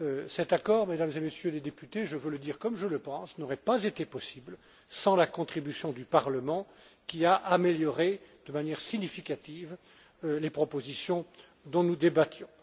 Cet accord, Mesdames et Messieurs les députés, je veux le dire comme je le pense, n'aurait pas été possible sans la contribution du Parlement qui a amélioré de manière significative les propositions dont nous débattions.